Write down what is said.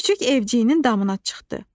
Küçüк evciyinin damına çıxdı.